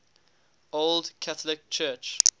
old catholic church